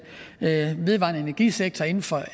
vedvarende energisektor inden for